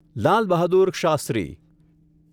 Lal Bahadur Shastri